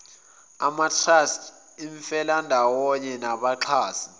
amatrust imifelandawonye nabaxhasi